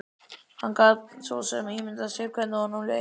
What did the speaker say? Hann gat svo sem ímyndað sér hvernig honum leið.